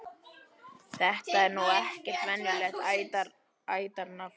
Þetta er nú ekkert venjulegt ættarnafn.